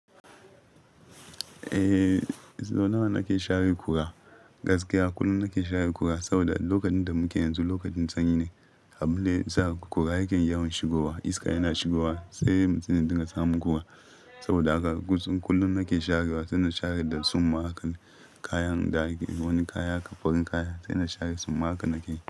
Eh, sau nawa nake share kura? Gaskiya kullum nake share kura saboda lokacin da muke yanzu lokacin sanyi ne. Abinda yasa kura yake yawon shigowa iska yana shigowa sai mutumin da dinga samu kura. Saboda haka kullum nake sharewa, suna share da tsumma haka kayan da wani kaya fariin kaya saina share tsumma haka nake yi.